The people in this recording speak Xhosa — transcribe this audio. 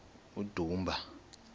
udumba